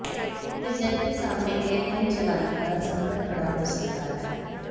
इससे जेट के सामने एयरलाइन चलाने का संकट खड़ा हो सकता है